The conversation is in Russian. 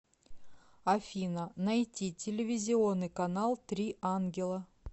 афина найти телевизионный канал три ангела